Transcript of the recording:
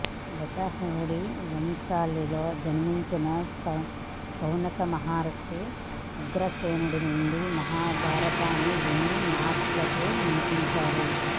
వీతహవ్యుడి వంశావళిలో జన్మించిన శౌనక మహర్షి ఉగ్రశ్రవణుడి నుండి మహాభారతాన్ని విని మహర్షులకు వినిపించాడు